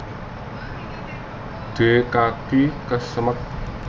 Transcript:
D kaki kesemek